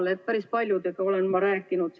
Ma olen päris paljudega sellel teemal rääkinud.